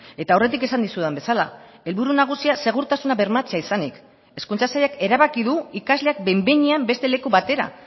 eta aurretik esan dizudan bezala helburu nagusia segurtasuna bermatzea izanik hezkuntza sailak erabaki du ikasleak behin behinean beste leku batera